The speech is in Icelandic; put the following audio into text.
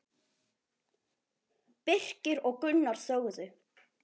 Birkir og Gunnar þögðu.